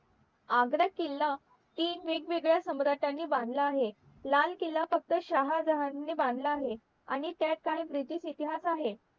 आग्रा किल्ला तीन वेग वेगळ्या सम्राटांनी बांधला आहे लाल किल्ला फक्त शहाजहान ने बांधला आहे आणि त्यात काही british इतिहास आहे